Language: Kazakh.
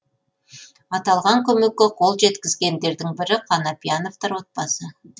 аталған көмекке қол жеткізгендердің бірі қанапияновтар отбасы